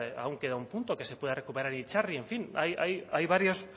aún queda un punto que se pueda recuperar itzarri en fin ahí hay varios